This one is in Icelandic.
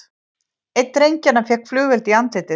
Einn drengjanna fékk flugeld í andlitið